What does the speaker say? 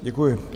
Děkuji.